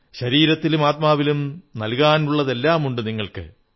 ശരീരത്തിലും ആത്മാവിലും നല്കാനുള്ളതെല്ലാമുണ്ടു നിങ്ങൾക്ക്